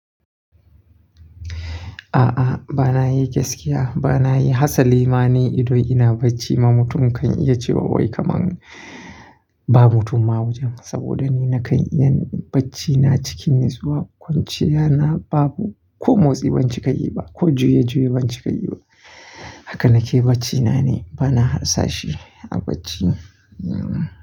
A'a, ba na yi gaskiya. Ba na yi, hasali ma ni idan ina bacci ma mutum kan iya cewa wai kamar ba mutum ma wajen. Saboda ni na kan iya bacci na cikin natsuwa, kwanciya na babu ko motsi ban cika yi ba ko juye-juye ban cika yi ba. Haka na ke bacci na ni, ba na rasa shi a bacci.